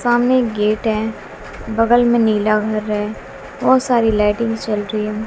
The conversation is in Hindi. सामने गेट है बगल में नीला घर है बहुत सारी लाइटिंग जल रही हैं।